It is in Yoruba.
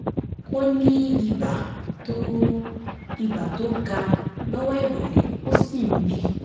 ó ní ibà um tó ibà um tó ga lọ́wọ́ ìrọ̀lẹ́ ó sì ń bì